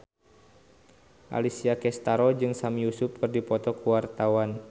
Alessia Cestaro jeung Sami Yusuf keur dipoto ku wartawan